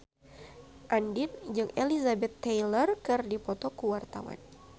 Andien jeung Elizabeth Taylor keur dipoto ku wartawan